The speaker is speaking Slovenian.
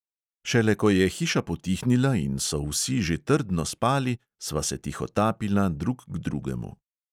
Šele, ko je hiša potihnila in so vsi že trdno spali, sva se tihotapila drug k drugemu.